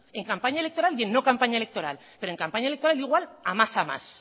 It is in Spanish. en campaña electoral y en no campaña electoral pero en campaña electoral igual a más a más